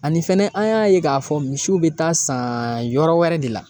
Ani fɛnɛ an y'a ye k'a fɔ misiw bɛ taa san yɔrɔ wɛrɛ de la